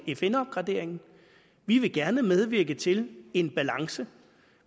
fn opgraderingen vi vil gerne medvirke til en balance